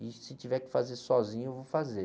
E se tiver que fazer sozinho, eu vou fazer.